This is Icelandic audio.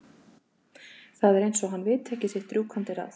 Það er eins og hann viti ekki sitt rjúkandi ráð.